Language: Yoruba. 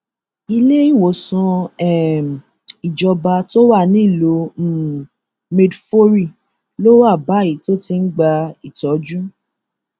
ilé ìwòsàn um ìjọba tó wà nílùú um maidforí ló wà báyìí tó ti ń gba ìtọjú